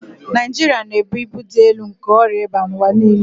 Naịjirịa na-ebu ibu dị elu nke ọrịa ịba n'ụwa niile